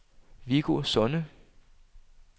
Viggo Sonne